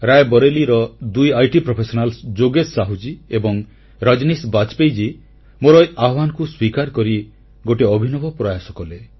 ରାୟବରେଲୀର ଦୁଇ ଆଇଟି ପେଶାଦାର ଯୋଗେଶ ସାହୁଜୀ ଏବଂ ରଜନୀଶ ବାଜପେୟୀ ମୋର ଏହି ଆହ୍ୱାନକୁ ସ୍ୱୀକାର କରି ଗୋଟିଏ ଅଭିନବ ପ୍ରୟାସ କଲେ